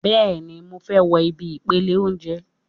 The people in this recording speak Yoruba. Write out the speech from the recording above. Bẹ́ẹ̀ni, mo fẹ́ wo ibi ìpele óúnjẹ